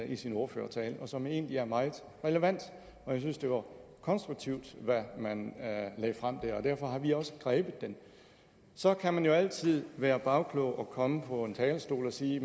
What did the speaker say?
i sin ordførertale og som egentlig er meget relevant jeg synes det var konstruktivt hvad man lagde frem der og derfor har vi også grebet den så kan man jo altid være bagklog og komme op på en talerstol og sige